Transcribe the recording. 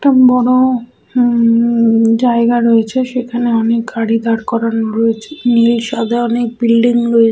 একটা বড় ও উম-জায়গায় রয়েছে সেখানে অনেক গাড়ি দাঁড় করানো রয়েছে নীল সাদা অনেক বিল্ডিং রয়ে--